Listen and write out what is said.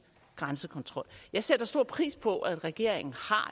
grænsekontrol jeg sætter stor pris på at regeringen